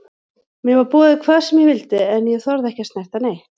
Mér var boðið hvað sem ég vildi en ég þorði ekki að snerta neitt.